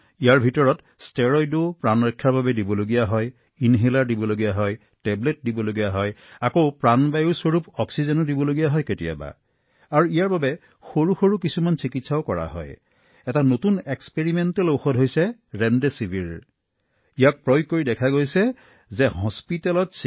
ইয়াত ষ্টেৰইড যি আছে ই জীৱন ৰক্ষা কৰিব পাৰে ইনহেলাৰ দিব পাৰো টেবলেট আমি দিব পাৰো আৰু একে সময়তে আমি জীৱনদায়িনী অক্সিজেন দিব পাৰো আৰু ইয়াৰ বাবে সৰু সৰু চিকিৎসা আছে কিন্তু প্ৰায়ে যি ঘটি আছে সেয়া হল ৰেমডেচিভিৰ নামৰ এটা নতুন পৰীক্ষামূলক ঔষধ উপলব্ধ হৈছে